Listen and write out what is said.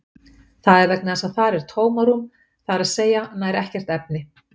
Það er vegna þess að þar er tómarúm, það er að segja nær ekkert efni.